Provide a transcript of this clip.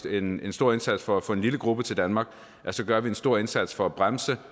en stor indsats for at få en lille gruppe til danmark skal gøre en stor indsats for at bremse